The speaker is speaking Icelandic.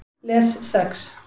Les Sex